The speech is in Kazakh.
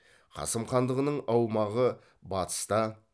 қасым хандығының аумағы батыста